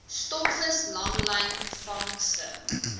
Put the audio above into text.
stokvis langlyn vangste